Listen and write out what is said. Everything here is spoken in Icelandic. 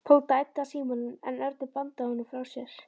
Tóti æddi að símanum en Örn bandaði honum frá sér.